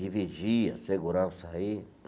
De vigia, segurança aí.